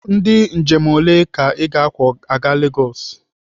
Ndị njem ole ka ị ga-akwọ aga Legosi?